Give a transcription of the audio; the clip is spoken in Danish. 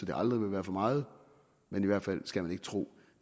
det aldrig vil være for meget men i hvert fald skal man ikke tro